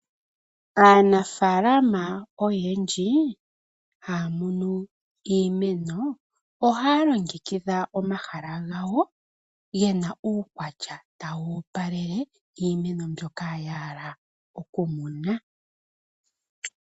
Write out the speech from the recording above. Aanafaalama oyendji haya munu iimeno ohaya longekidha omahala gawo gena uukwatya tawu opalele iimeno mbyoka yahala.